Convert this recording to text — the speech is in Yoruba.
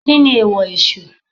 Kíni èèwọ̀ Èsù?